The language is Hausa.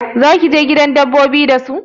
Zaki je gidan dabbobi da su?